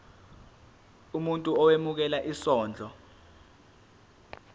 umuntu owemukela isondlo